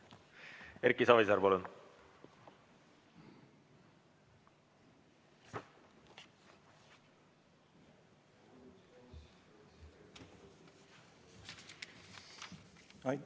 Erki Savisaar, palun!